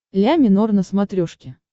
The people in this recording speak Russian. ля минор на смотрешке